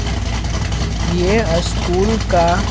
यह स्कूल का।